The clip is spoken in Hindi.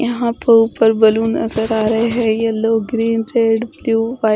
यहां पर ऊपर बैलून नजर आ रहे हैं। Yellow green red blue white ---